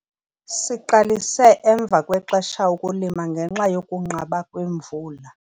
Siqalise emva kwexesha ukulima ngenxa yokunqaba kwemvula.